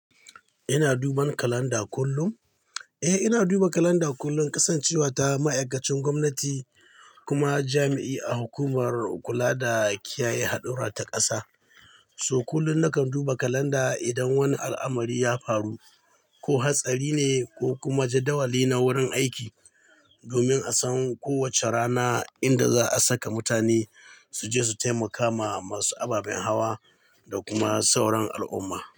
Ina duba kalanda kullum? Eh, ina duba kalanda kullum, kasancewa ta ma'aikacin gwamnati kuma jami'i a hukumar kula da kiyaye haɗura ta ƙasa. To kullum nakan duba kalanda idan wani al'amari ya faru ko hatsari ne, ko kuma jadawali na wurin aiki, domin a san kowace rana inda za a saka mutane su je su taimaka ma masu ababen hawa da kuma sauran al'umma.